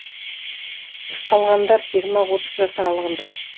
ұсталғандар жиырма отыз жас аралығында